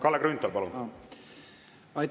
Kalle Grünthal, palun!